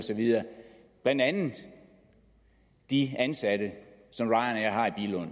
blandt andet de ansatte